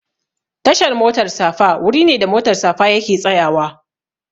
Tashar motar safa wuri ne da motar safa yake tsayawa